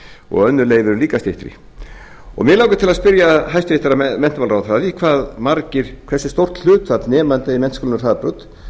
og önnur leyfi eru líka styttri mig langar til að spyrja hæstvirtan menntamálaráðherra að því hversu stórt hlutfall nemenda í menntaskólanum hraðbraut